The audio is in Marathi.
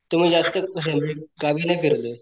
तर मी जास्त असं म्हणजे गावी नाही फिरलोय.